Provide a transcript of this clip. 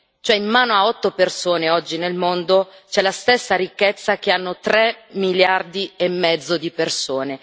Cioè in mano a otto persone, oggi nel mondo, c'è la stessa ricchezza che hanno tre miliardi e mezzo di persone.